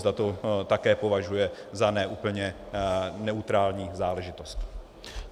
Zda to také považuje za ne úplně neutrální záležitost.